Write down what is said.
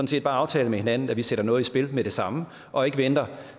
set bare aftale med hinanden at vi sætter noget i spil med det samme og ikke venter